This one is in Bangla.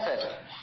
হ্যাঁ স্যার